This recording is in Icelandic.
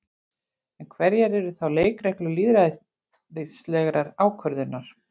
En hverjar eru þá leikreglur lýðræðislegrar ákvörðunar?